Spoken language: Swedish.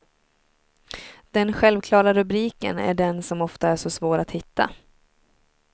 Den självklara rubriken är den som ofta är så svår att hitta.